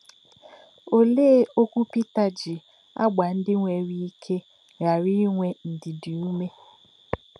Olee okwu Pita ji agba ndị nwere ike ghara inwe ndidi ume?